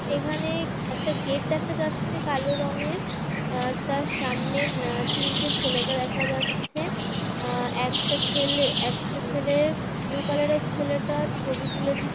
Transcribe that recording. এখানে একটা গেট দেখা যাচ্ছে কালো রংয়ের আ তার সামনে না তিনটে ছেলেকে দেখা যাচ্ছে আ একটা ছেলে একটা ছেলে ব্লু কালারের ছেলেটা ছবি তুলে--